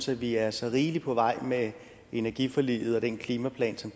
vi er så rigeligt på vej med energiforliget og den klimaplan som